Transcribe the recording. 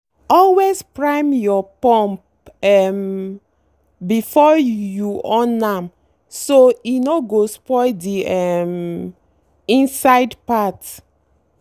always prime your pump um before you on am—so e no go spoil the um inside part.